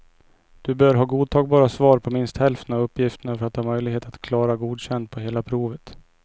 Du bör ha godtagbara svar på minst hälften av uppgifterna för att ha möjlighet att klara godkänd på hela provet.